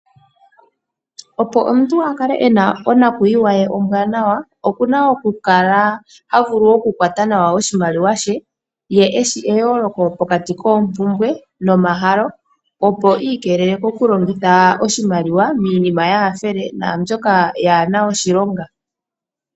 Opo omuntu akale ena onakwiiwa ye ombwaanawa, okuna oku kala havulu oku kwata nawa oshimaliwa she ye eshi eyooloko pokati koo mpumbwe noma halo, opo iikeelele koku longitha oshimaliwa miinima yaa hafele naa mbyoka kaayina oshilonga.